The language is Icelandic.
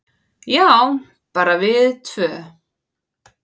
"""Já, bara við tvö."""